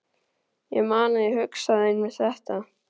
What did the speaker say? Ég man að ég hugsaði einmitt þetta.